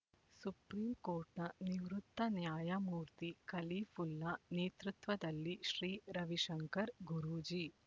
supreme ಕೋರ್ಟ್‌ನ ನಿವೃತ್ತ ನ್ಯಾಯಮೂರ್ತಿ ಖಲೀಫುಲ್ಲಾ ನೇತೃತ್ವದಲ್ಲಿ ಶ್ರೀ ರವಿಶಂಕರ್ ಗುರೂಜಿ